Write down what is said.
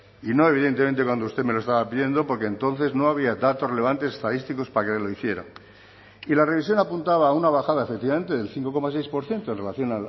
y no evidentemente cuando usted me lo estaba pidiendo porque entonces no había datos relevantes estadísticos para que lo hiciera y la revisión apuntaba a una bajada efectivamente del cinco coma seis por ciento en relación